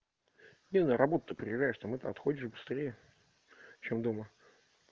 не на работу то приезжаешь там это отходишь быстрее чем дома